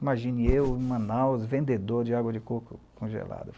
Imagine eu em Manaus, vendedor de água de coco congelada.